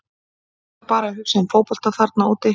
Þú ert bara að hugsa um fótbolta þarna úti.